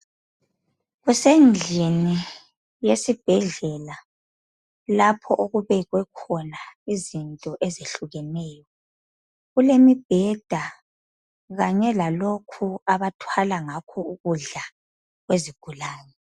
Kusendlini yesibhedlela lapho okubekwekhona izinto ezehlukeneyo kulemibheda kanye la lokhu abathwala ngakho ukudla kwezigulani